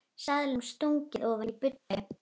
Seðlum stungið ofan í buddu.